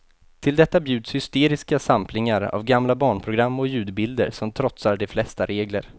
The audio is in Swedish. Till detta bjuds hysteriska samplingar av gamla barnprogram och ljudbilder som trotsar de flesta regler.